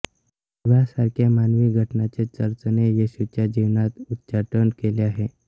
विवाहासारख्या मानवी घटनांचे चर्चने येशूच्या जीवनातून उच्चाटन केले आहे